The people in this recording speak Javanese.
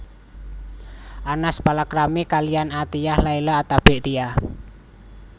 Anas palakrami kaliyan Athiyyah Laila Attabik Tia